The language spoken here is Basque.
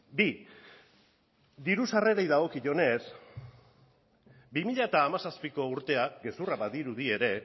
bi diru sarrerei dagokionez bi mila hamazazpiko urtea gezurra badirudi ere